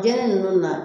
Biɲɛ nunnu na